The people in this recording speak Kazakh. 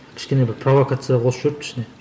кішкене бір провокация қосып жіберіпті ішіне